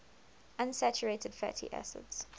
unsaturated fatty acids